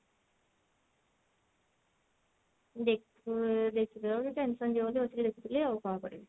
ଦେଖୁ ଦେଖିଦେଲେ ଗୋଟେ tension ଯିବ ତ ବସିକି ଦେଖୁଥିଲି ଆଉ କଣ କରିବି